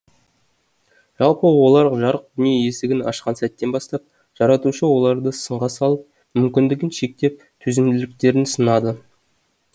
жалпы олар жарық дүние есігін ашқан сәттен бастап жаратушы оларды сынға алып мүмкіндігін шектеп төзімділіктерін сынады